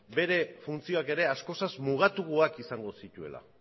bere funtzioak ere askoz mugatuagoak izango zituela